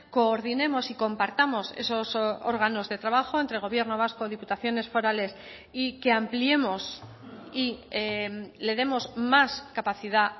coordinemos y compartamos esos órganos de trabajo entre gobierno vasco diputaciones forales y que ampliemos y le demos más capacidad